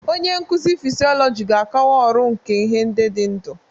Onye nkuzi fịsiolojị ga-akọwa ọrụ nke ihe ndị dị ndụ.